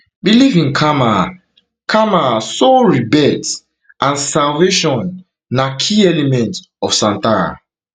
belief in karma karma soul rebirth and salvation na key elements of santhara